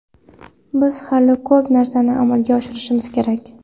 Biz hali ko‘p narsani amalga oshirishimiz kerak.